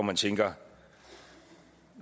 man tænker